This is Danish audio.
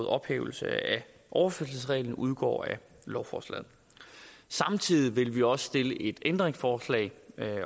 ophævelse af overførselsreglen udgår af lovforslaget samtidig vil vi også stille et ændringsforslag